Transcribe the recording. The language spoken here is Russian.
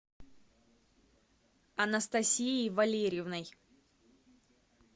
анастасией валерьевной